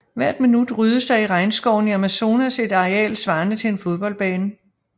Hvert minut ryddes der i regnskoven i Amazonas et areal svarende til en fodboldbane